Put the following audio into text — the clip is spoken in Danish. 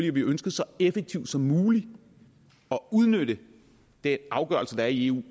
at vi ønsker så effektiv som muligt at udnytte den afgørelse der er i eu